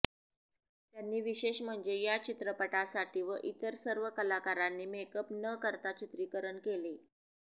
त्यांनी विशेष म्हणजे या चित्रपटासाठी व इतर सर्व कलाकारांनी मेकअप न करता चित्रीकरण केले